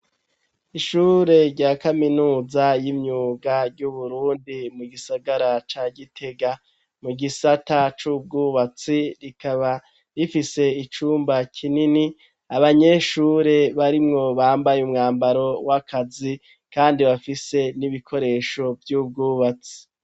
Ishure rya kaminuza y'imyuga ry'uburundi mu gisagara ca gitega mu gisata c'ubwubatsi rikaba rifise icumba kinini abanyeshure barimwo bambaye umwambaro w'akazi kandi bafise n'ibikoresho vy'ubwubatsi.